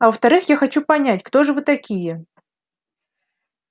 а во-вторых я хочу понять кто же вы такие